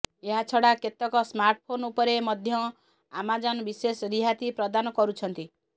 ଏହା ଛଡା କେତେକ ସ୍ମାର୍ଟ ଫୋନ ଉପରେ ମଧ୍ୟ ଆମାଜନ ବିଶେଷ ରିହାତି ପ୍ରଦାନ କରୁଛନ୍ତି